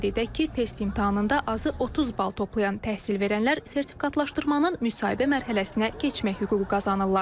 Qeyd edək ki, test imtahanında azı 30 bal toplayan təhsil verənlər sertifikatlaşdırmanın müsahibə mərhələsinə keçmək hüququ qazanırlar.